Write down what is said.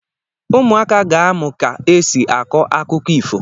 Ụmụaka ga-amụ̀ ka esi akọ akụkọ ifo.